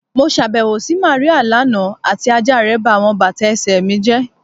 Mo ṣabẹwo si Maria lana ati aja rẹ ba awọn bata ẹsẹ mi jẹ